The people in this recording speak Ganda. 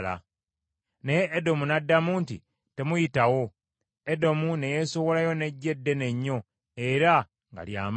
Naye Edomu n’addamu nti, “Temuyitawo.” Edomu ne yeesowolayo n’eggye ddene nnyo era nga lya maanyi.